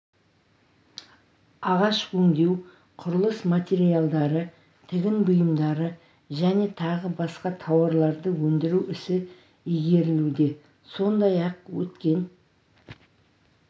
ағаш өңдеу құрылыс материалдары тігін бұйымдары және тағы басқа тауарларды өндіру ісі игерілуде сондай-ақ өткен